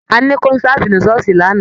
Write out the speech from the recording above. Àní konsati ni ṣooṣi lanna.